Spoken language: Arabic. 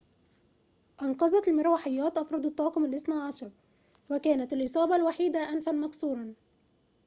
أنقذت المروحيات أفرد الطاقم الاثني عشر وكانت الإصابة الوحيدة أنفًا مكسورًا